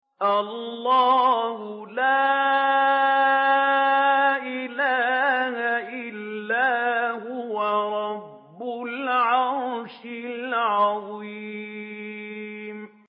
اللَّهُ لَا إِلَٰهَ إِلَّا هُوَ رَبُّ الْعَرْشِ الْعَظِيمِ ۩